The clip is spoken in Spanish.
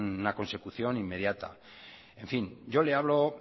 una consecución inmediata yo le hablo